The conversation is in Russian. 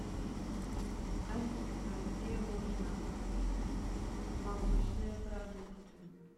алиса где можно купить молочные продукты